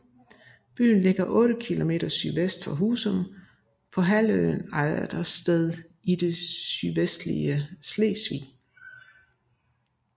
Byen ligger 8 kilometer sydvest for Husum på halvøen Ejdersted i det sydvestlige Sydslesvig